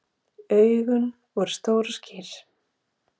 Augun voru stór og skýr.